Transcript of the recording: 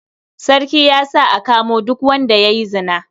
Sarki ya sa a kamo duk wanda ya yi zina.